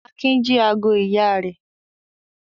Akin jí ago ìyá rẹ̀?